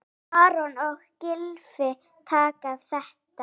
Aron og Gylfi taka þetta.